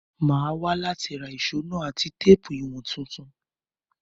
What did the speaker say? Mo máa wa láti ra ìso náà àti téèpù ìwọ̀n tuntun